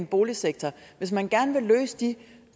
boligsektor hvis man gerne vil løse de